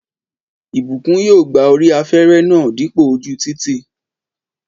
Ìbùkún yóò gba orí afẹ́rẹ́ náà dípò ojú títì